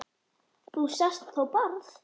Þú sást þó Bárð?